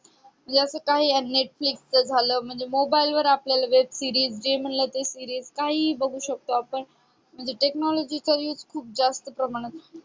याच काय आहे या Netflix च झालं mobile वर आपल्याला web series जे म्हणलं ते series काहीही बघू शकतो आपण म्हणजे technology चा use खूप जास्त प्रमाणात